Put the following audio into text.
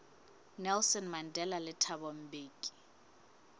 nelson mandela le thabo mbeki